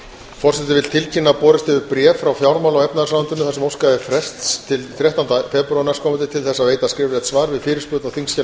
forseti vill tilkynna að borist hefur bréf frá fjármála og efnahagsráðuneytinu þar sem óskað er frests til þrettánda febrúar næstkomandi til að veita skriflegt svar við fyrirspurn á þingskjali